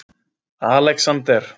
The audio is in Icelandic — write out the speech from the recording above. Alexander